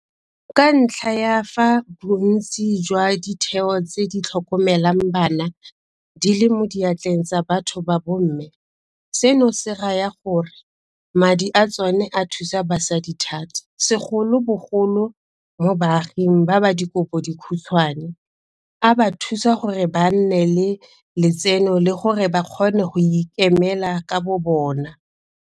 Ka ntlha ya fa bontsi jwa ditheo tse di tlhokomelang bana di le mo diatleng tsa batho ba bomme, seno se raya gore madi a tsona a thusa basadi thata, segolobogolo mo baaging ba ba dikobodikhutshwane, a ba thusa gore ba nne le letseno le gore ba kgone go ikemela ka bobona.